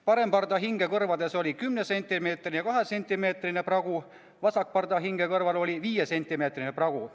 Parempardahinge kõrvades olid kümnesentimeetrine ja kahesentimeetrine pragu, vasakpardahinge kõrvas oli viiesentimeetrine pragu.